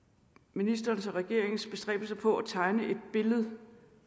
ministerens og regeringens bestræbelser på at tegne et billede